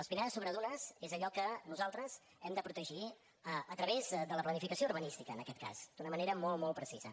les pinedes sobre dunes és allò que nosaltres hem de protegir a través de la planificació urbanística en aquest cas d’una manera molt molt precisa